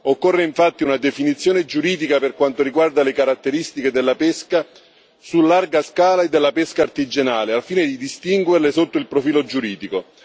Occorre infatti una definizione giuridica per quanto riguarda le caratteristiche della pesca su larga scala e della pesca artigianale, al fine di distinguerle sotto il profilo giuridico.